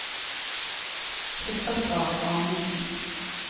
Kristoffer Amundsen